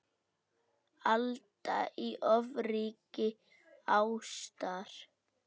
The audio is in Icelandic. Alda í ofríki ástar.